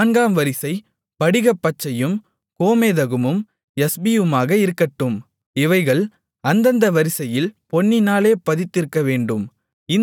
நான்காம் வரிசை படிகப்பச்சையும் கோமேதகமும் யஸ்பியுமாக இருக்கட்டும் இவைகள் அந்தந்த வரிசையில் பொன்னினாலே பதித்திருக்கவேண்டும்